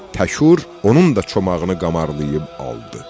Təşür onun da çomağını qamarlayıb aldı.